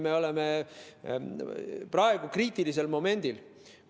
Me elame praegu kriitilisel momendil.